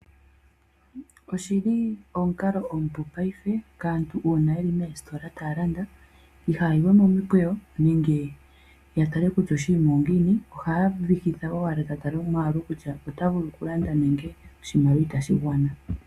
Oshi li omukalo omupu paife kaantu uuna yeli moositola taa landa ihaayi we momukweyo nenge ya tale kutya oshinima ongiini, ohaya vihitha owala ta tala omwaalu kutya ota vulu okulanda nenge oshimaliwa itashi gwana.